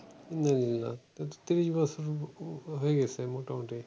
আহ ত্রিশ বছরের হয়ে গেছে মোটামুটি।